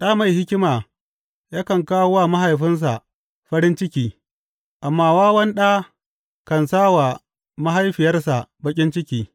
Ɗa mai hikima yakan kawo wa mahaifinsa farin ciki, amma wawan ɗa kan sa wa mahaifiyarsa baƙin ciki.